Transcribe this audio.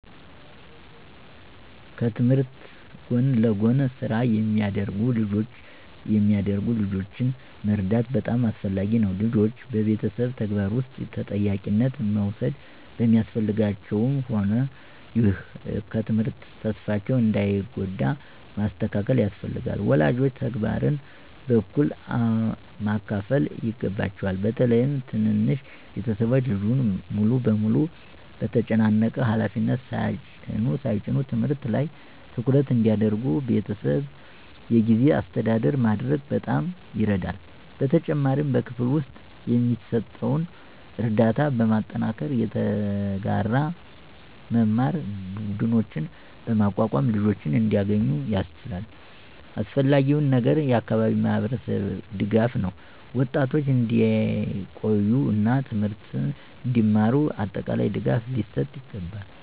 ከትምህርት ጎን ለጎን ስራ የሚያደርጉ ልጆችን መርዳት በጣም አስፈላጊ ነው። ልጆች በቤተሰብ ተግባር ውስጥ ተጠያቂነት መውሰድ ቢያስፈልጋቸውም፣ ይህ ከትምህርት ተስፋቸውን እንዳይጎዳ ማስተካከል ያስፈልጋል። ወላጆች ተግባርን በእኩል ማካፈል ይገባቸዋል፣ በተለይም ትንንሽ ቤተሰቦች ልጁን ሙሉ በሙሉ በተጨናነቀ ሃላፊነት ሳይጭኑ። ትምህርት ላይ ትኩረት እንዲያደርጉ በቤተሰብ የጊዜ አስተዳደር ማድረግ በጣም ይረዳል። በተጨማሪም በክፍል ውስጥ የሚሰጠውን ርዳታ በማጠናከር፣ የተጋራ መማር ቡድኖችን በማቋቋም ልጆች እንዲያገኙ ያስችላል። አስፈላጊው ነገር የአካባቢ ማህበረሰብ ድጋፍ ነው፤ ወጣቶች እንዲቆዩ እና ትምህርትን እንዲማሩ አጠቃላይ ድጋፍ ሊሰጥ ይገባል።